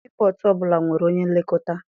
Sii pọtụ ọbụla nwere onye nlekọta.